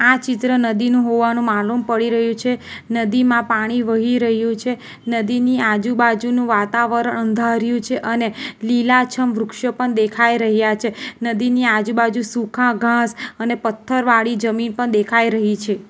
આ ચિત્ર નદીનું હોવાનું માલુમ પડી રહ્યું છે નદીમાં પાણી વહી રહ્યું છે નદીની આજુબાજુનું વાતાવરણ અંધારીયુ છે અને લીલાછમ વૃક્ષો પણ દેખાઈ રહ્યા છે નદીની આજુબાજુ સૂખા ઘાસ અને પથ્થર વાળી જમીન પણ દેખાઈ રહી છે.